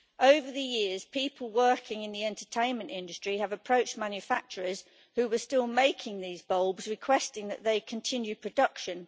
Over the years, people working in the entertainment industry have approached manufacturers who were still making this type of light bulb, requesting that they continue production.